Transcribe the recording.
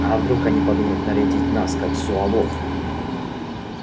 а вдруг они подумают нарядить нас как зуавов